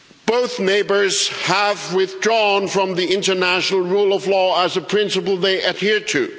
Both neighbours have withdrawn from the international rule of law as a principle they adhere to.